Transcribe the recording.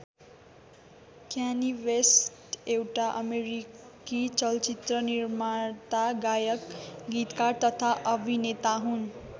Kayani West एउटा अमेरिकी चलचित्र निर्माता गायक गीतकार तथा अभिनेता हुन्।